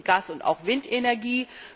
Öl und Gas und auch Windenergie.